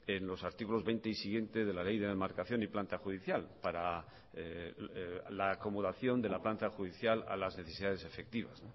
en los artículos veinte y siguiente de la ley de demarcación y planta judicial para la acomodación de la planta judicial a las necesidades efectivas